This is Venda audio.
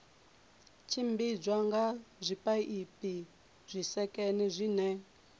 tshimbidzwa nga zwipaipi zwisekene zwine